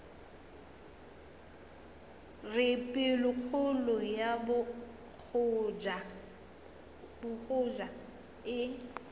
re pelokgolo ya bogoja e